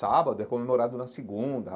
Sábado é comemorado na segunda.